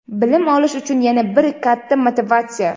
Bilim olish uchun yana bir katta motivatsiya.